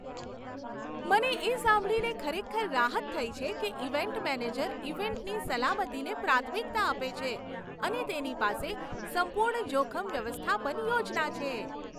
મને એ સાંભળીને ખરેખર રાહત થઈ છે કે ઇવેન્ટ મેનેજર ઇવેન્ટની સલામતીને પ્રાથમિકતા આપે છે અને તેની પાસે સંપૂર્ણ જોખમ વ્યવસ્થાપન યોજના છે.